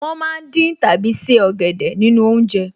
Wọ́n ma ń dín tàbí se ọ̀gẹ̀dẹ̀ nínú oúnjẹ